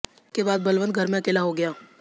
इसके बाद बलवंत घर में अकेला हो गया